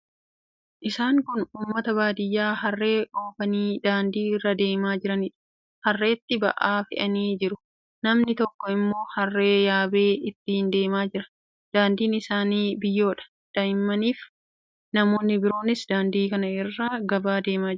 Isaan kun uummata baadiyyaa harree oofanii daandii irra deemaa jiraniidha. Harreetti ba'aa fe'anii jiru. Namni tokko immoo harree yaabee ittiin deemaa jira. Daandiin isaanii biyyoodha. Daa'immaniifi namoonni biroonis daandii kanarra gara gabaa deemaa jiru.